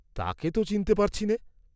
তাকে ত চিনতে পারছি নে?